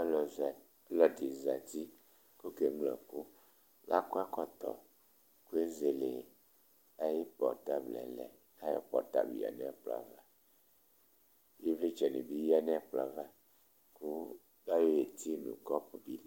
Ɔlɔdi zɛti kʋ oke nyʋa ɛkʋ Lakɔ ɛkɔtɔ kʋ ezele ayʋ portablɛ lɛ Ayʋ portablɛ lɛ nʋ ɛkplɔ ava Ivlitsɛ ni bi lɛ nʋ ɛkplɔ ava kʋ layɔ e'ti nʋ kɔpu bi